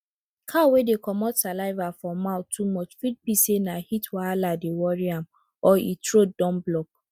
cow wey dey comot saliva for mouth too much fit be say na heat wahala dey worry am or e throat don block